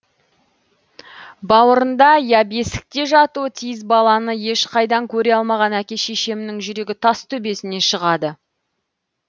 бауырында я бесікте жатуы тиіс баланы ешқайдан көре алмаған әке шешемнің жүрегі тас төбесіне шығады